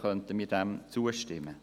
Diesem könnten wir zustimmen.